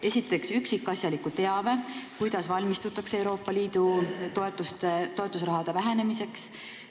Esiteks, üksikasjaliku teabe, kuidas valmistutakse Euroopa Liidu toetusraha vähenemiseks.